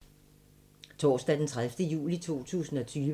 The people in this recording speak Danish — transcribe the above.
Torsdag d. 30. juli 2020